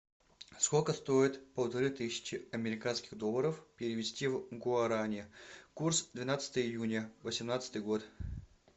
сколько стоит полторы тысячи американских долларов перевести в гуарани курс двенадцатое июня восемнадцатый год